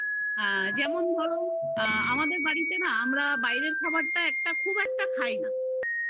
আ যেমন ধরো আমাদের বাড়িতে না আমরা বাইরের খাবারটা খুব একটা খাই না